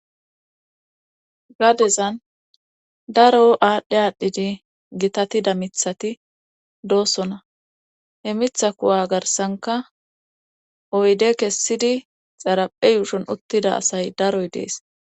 gadezan daro aadhdhe aadhdhidi gitatida mithati doossona he mitha kuwa garsanka oyde kessidi xaraphe yuushon uttida asay daroy dees